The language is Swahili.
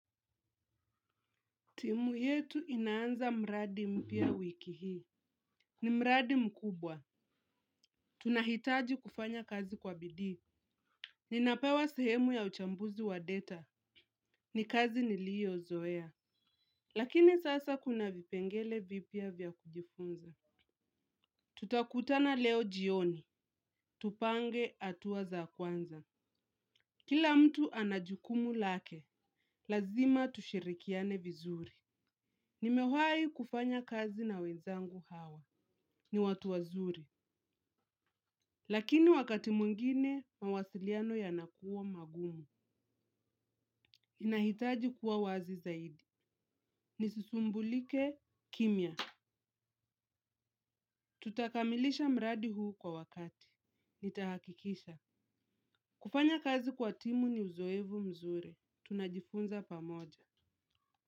Timu yetu inaanza mradi mpia wiki hii. Ni mradi mkubwa. Tunahitaji kufanya kazi kwa bidii. Ninapewa sehemu ya uchambuzi wa data. Ni kazi nilio zoea. Lakini sasa kuna vipengele vipia vya kujifunza. Tutakutana leo jioni. Tupange atuwa za kwanza. Kila mtu anajukumu lake. Lazima tushirikiane vizuri. Nimewayi kufanya kazi na wezangu hawa. Ni watu wazuri. Lakini wakati mungine, mawasiliano yanakuwa magumu. Inahitaji kuwa wazi zaidi. Nisisumbulike kimya. Tutakamilisha mradi huu kwa wakati. Nitahakikisha. Kufanya kazi kwa timu ni uzoevu mzuri. Tunajifunza pamoja.